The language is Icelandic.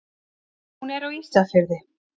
Hún er á Ísafirði.